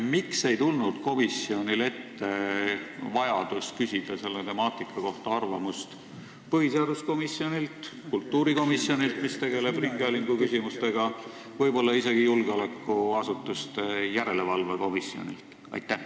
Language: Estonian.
Miks ei tulnud komisjonil ette vajadust küsida selle temaatika kohta arvamust põhiseaduskomisjonilt või kultuurikomisjonilt, mis tegeleb ringhäälinguküsimustega, võib-olla isegi julgeolekuasutuste järelevalve komisjonilt?